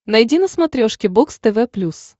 найди на смотрешке бокс тв плюс